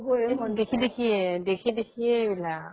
দেখি দেখিয়ে দেখি দেখিয়ে এইবিলাক